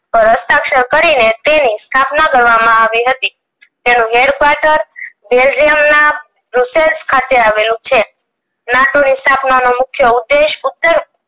પર હસ્તાક્ષર કરીને તેની સ્થાપના કરવામાં આવી હતી તેનું headquater belgium ના રૂસસેલ્સ ખાતે આવેલો છે નાટો ની સ્થાપનાનો મુખ્ય ઉધેશ